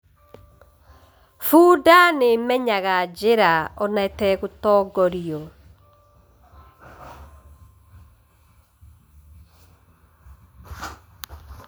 Bunda nĩ ĩmenyaga njĩra ona ĩtegũtongorio.